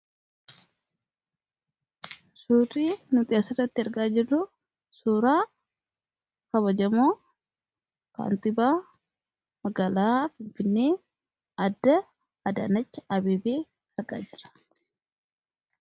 suurii nuuxiyaasa irratti argaa jedu suuraa kabajamoo kaanxibaa magaalaa fifne adda adaanacha abib argaa jira